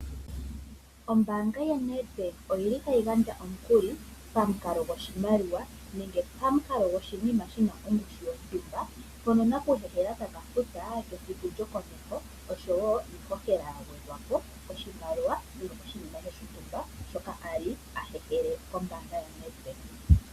Ombaanga yaNedbank oyili tayi gandja omukuli pamukalo goshimaliwa nenge pamukalo goshinima shina ongushu yontumba mpoka nakuhehela taka futa kesiku lyokomeho osho wo iishoshela yagwedhwa po oshimaliwa nenge oshinima shontumba shoka ali ahehele kombaanga yaNedbank.